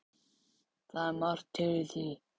Það er margt til í því.